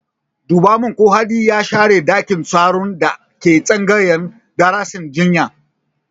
Duba min ko Hadi ya share ɗakin taron da ke tsangayar darasin jinya!